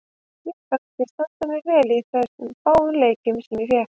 Mér fannst ég standa mig vel í þeim fáu leikjum sem ég fékk.